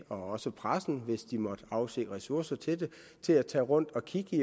også pressen hvis de måtte afse ressourcer til det til at tage rundt og kigge